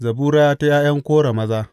Zabura ta ’ya’yan Kora maza.